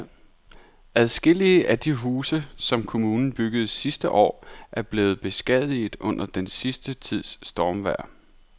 Adskillige af de huse, som kommunen byggede sidste år, er blevet beskadiget under den sidste tids stormvejr.